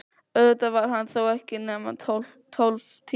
Auðvitað var hann þó ekki nema tólf tímar.